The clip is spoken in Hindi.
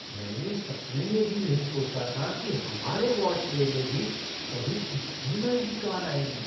मैंने सपने में भी नहीं सोचा था कि हमारे वॉश बे में भी कभी इतनी महंगी कार आएगी।